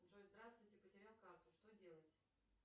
джой здравствуйте потерял карту что делать